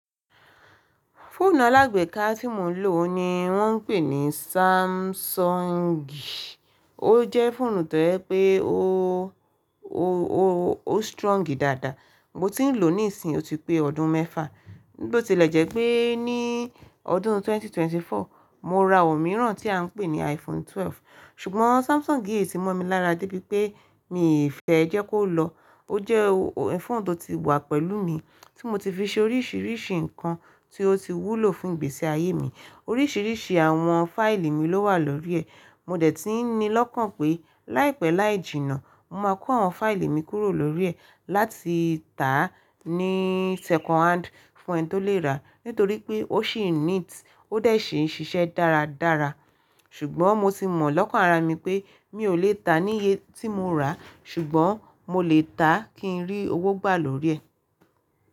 Fóònù alágbèéká tí mo ń lò oun ni wọ́n ń pè ní Samsungi. Ó jẹ́ fóònù tó yẹ pé ó, ó, ó, ó strong dáadáa. Mo ti n lo nisin o ti pe odun mefa Bi o tile je pe ni odun ẹgbẹ̀rún méjì ó lé ẹ́rinlélógún, mo ra omiran ti a n pe ni Iphone 12 Sugbon Samsung yii ti mo mi lara de bi pe, mi fe je kolo o je phone to ti wa pelu mii, ti mo ti fi se orisirisi nkan ti o ti wulo fun igbesi aye mii Oríṣiríṣi àwọn fáìlì mi ló wà lórí ẹ̀. Mo de ti n nilokan pe laipe laijina, mo ma ko awon faili mi kuro lori e, lati ta ni second hand fun eni to le ra. Nitori pe o sii neat o de sii n sise daradara Sugbon mo ti mo lokan ara mi pe, mi o le ta niyen ti mo ra, sugbon mo le ta, kin ri owo gba lori e.